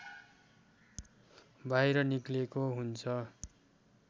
बाहिर निक्लेको हुन्छ